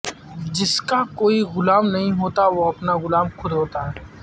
جس کا کوئی غلام نہیں ہوتا وہ اپنا غلام خود ہوتا ہے